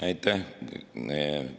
Aitäh!